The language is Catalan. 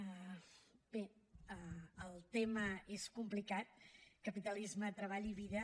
bé el tema és complicat capitalisme treball i vida